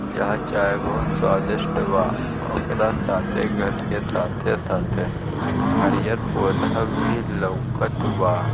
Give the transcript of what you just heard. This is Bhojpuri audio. यहा चाय बहुत स्वादिष्ट बा ओकरा साथे घर के साथे-साथे हरियर पौधा भी लउकत बा।